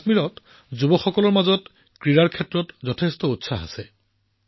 কাশ্মীৰত ক্ৰীড়া সম্পৰ্কে যুৱসকলৰ মাজত যথেষ্ট উৎসাহ আছে